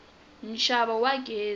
nxavo wa gezi